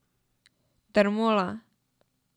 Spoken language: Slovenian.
Dermola.